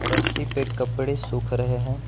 रस्सी पे कपड़े सूख रहे हैं।